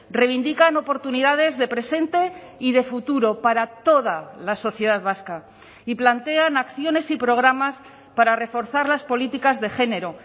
reivindican oportunidades de presente y de futuro para toda la sociedad vasca y plantean acciones y programas para reforzar las políticas de género